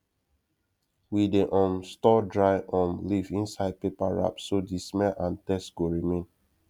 we dey um store dry um leaf inside paper wrap so the smell and taste go remain